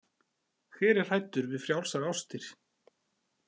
Hver er hræddur við frjálsar ástir?